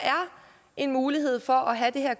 en mulighed for at have det her